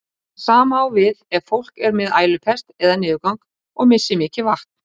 Það sama á við ef fólk er með ælupest eða niðurgang og missir mikið vatn.